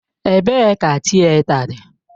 Ebee ka Tịeta dị?